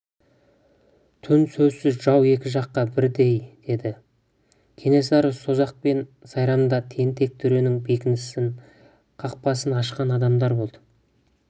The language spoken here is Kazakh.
түн сөзсіз жау екі жаққа бірдей деді кенесары созақ пен сайрамда тентек төренің бекініс қақпасын ашқан адамдары болды